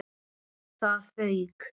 ÞAÐ FAUK!